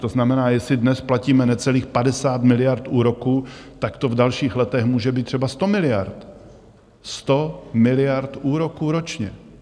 To znamená, jestli dnes platíme necelých 50 miliard úroků, tak to v dalších letech může být třeba 100 miliard, 100 miliard úroků ročně!